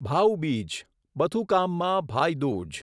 ભાઉ બીજ બથુકામમાં ભાઈ દૂજ